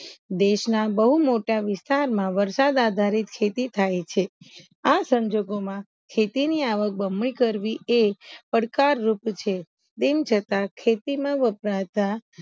દેશના બૌ મોટા વિસ્તારમાં વરસાદ આધારિત ખેતી થાય છે આ સંજોગોમાં ખેતી ની આવક બમણી કરવી એ પડકાર રૂપ છ તેમ છતા ખેતીમાં વપરતા